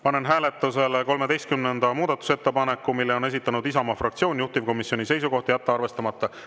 Panen hääletusele 13. muudatusettepaneku, mille on esitanud Isamaa fraktsioon, juhtivkomisjoni seisukoht: jätta arvestamata.